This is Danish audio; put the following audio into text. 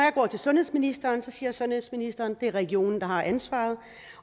sundhedsministeren siger sundhedsministeren at det er regionen der har ansvaret